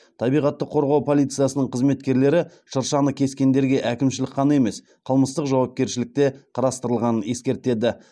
табиғатты қорғау полициясының қызметкерлері шыршаны кескендерге әкімшілік қана емес қылмыстық жауапкершілік те қарастырылғанын ескертеді